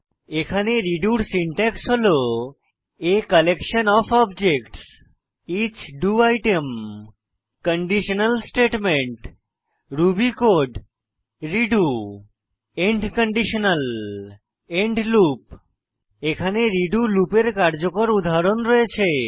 এখানে রেডো এর সিনট্যাক্স হল a কালেকশন ওএফ objectsইচ do item conditional statement Ruby code redo end conditional end loop এখানে redo লুপের কার্যকর উদাহরণ রয়েছে